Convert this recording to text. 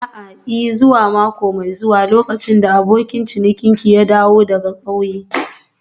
A'a, I. zuwa mako mai zuwa lokacin da abokin ciniki ya dawo daga ƙauyen.